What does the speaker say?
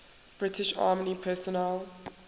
british army personnel